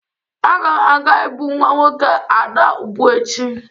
Agam aga ibu nwa nwoke Ada ubu echi